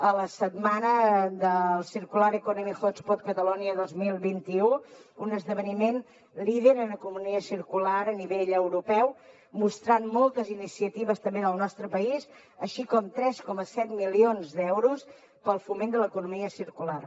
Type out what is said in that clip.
a la setmana del circular economy hostpot catalonia dos mil vint u un esdeveniment líder en economia circular a nivell europeu mostrant moltes iniciatives també del nostre país així com tres coma set milions d’euros per al foment de l’economia circular